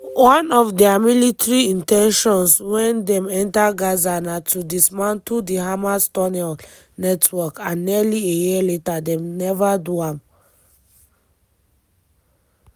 one of dia military in ten tions wen dem enter gaza na to dismantle di hamas tunnel network and nearly a year later dem neva do am."